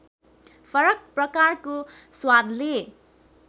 फरक प्रकारको स्वादले